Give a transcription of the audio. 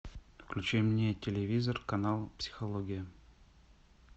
включи мне телевизор канал психология